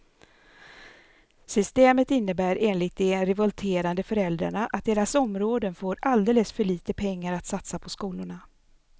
Systemet innebär enligt de revolterande föräldrarna att deras områden får alldeles för lite pengar att satsa på skolorna.